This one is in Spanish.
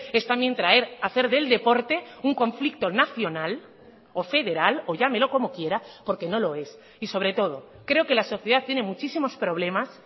es también traer hacer del deporte un conflicto nacional o federal o llámelo como quiera porque no lo es y sobre todo creo que la sociedad tiene muchísimos problemas